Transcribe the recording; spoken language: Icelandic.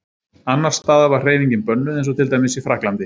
Annars staðar var hreyfingin bönnuð eins og til dæmis í Frakklandi.